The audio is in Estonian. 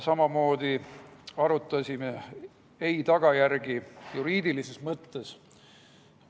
Samamoodi arutasime ei‑vastuse tagajärge juriidilises mõttes.